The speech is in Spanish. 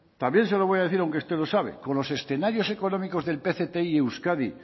también se lo voy a decir aunque usted lo sabe con los escenarios económicos del pcti euskadi